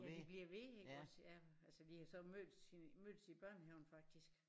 Ja de bliver ved iggås ja altså de har så mødtes mødtes i børnehaven faktisk